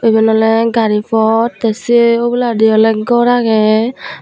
iben awle gari pod te se oboladi awle gor agey.